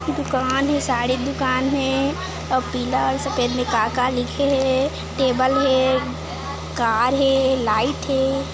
दुकान हे साड़ी दुकान हे और पीला और सफेद में का का लिखे हे टेबल हे कार हे लाइट हे।